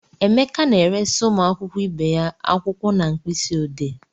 Emeka na-eresị ụmụ akwụkwọ ibe ya akwụkwọ na mkpịsị odee.